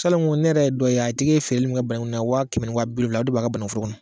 Salanko ne yɛrɛ ye dɔ ye a tigi feereli min kɛ bananku na wa kɛmɛ ni wa bi wolonwula o de b'a ka banankuforo kɔnɔ